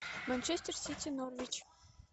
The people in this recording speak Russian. манчестер сити норвич